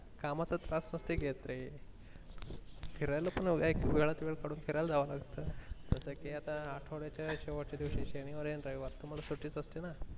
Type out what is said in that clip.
कामाच त्रास नसते घेत रे फिरायला पण एक वेळात वेळ कडून फिरायला जावं लागत जस कि आता आठवड्याच्या शेवटच्या दिवशी शनिवार आणि रविवार तुम्हाला सुटी च असते ना.